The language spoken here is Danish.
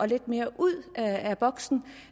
lidt mere ud af boksen